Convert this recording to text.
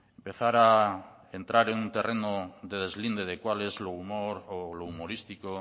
empezar a entrar en un terreno de deslinde de cuál es lo humor o lo humorístico